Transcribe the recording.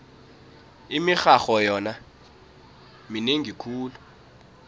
imirharho yona minengi khulu